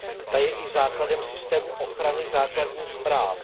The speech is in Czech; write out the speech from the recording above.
Ta je i základem systému ochrany základních práv.